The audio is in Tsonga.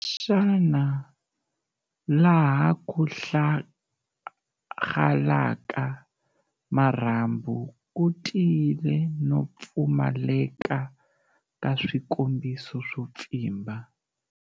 Xana laha ku hlahgalaka marhambu ku tiyile no pfumaleka ka swikombiso swo pfimba?